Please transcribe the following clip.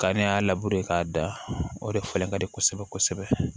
Ka ne y'a labure k'a da o de falen ka di kosɛbɛ kosɛbɛ